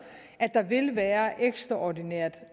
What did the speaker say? at der vil være ekstraordinært